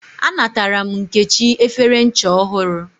A natara m Nkechi efere ncha ohuru